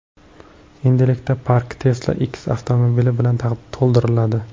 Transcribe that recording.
Endilikda park Tesla X avtomobili bilan to‘ldiriladi.